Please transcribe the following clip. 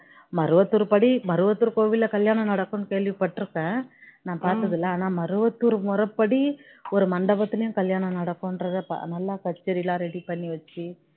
மருவத்தூர் படி பருவத்தூர் கோயில்ல கல்யாணம் நடக்கணும்னு கேள்வி பட்டிருக்கேன் நான் பார்த்தது இல்ல ஆனா மருவத்தூர் முறைப்படி ஒரு மண்டபத்துல கல்யாணம் நடக்குன்றத நல்லா கச்சேரிலாம் ready பண்ணி வச்சி